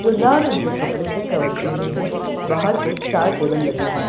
जो लाल रंग के कपड़े से कवर की हुई है बाहर को चार टेबल लगे हैं।